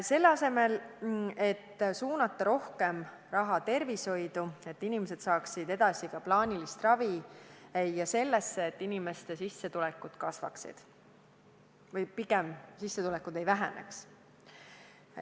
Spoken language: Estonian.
Selle asemel võinuks suunata rohkem raha tervishoidu, et inimesed saaksid edasi ka plaanilist ravi, ja sellesse, et inimeste sissetulekud kasvaksid või praegu on õigem öelda, et sissetulekud ei väheneks.